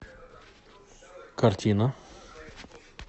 картина